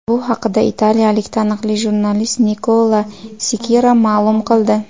Bu haqida italiyalik taniqli jurnalist Nikola Skira ma’lum qildi .